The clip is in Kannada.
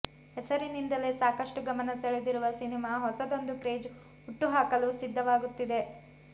ಹೆಸರಿನಿಂದಲೇ ಸಾಕಷ್ಟು ಗಮನ ಸೆಳೆದಿರುವ ಸಿನಿಮಾ ಹೊಸದೊಂದು ಕ್ರೇಜ್ ಹುಟ್ಟು ಹಾಕಲು ಸಿದ್ಧವಾಗುತ್ತಿದೆ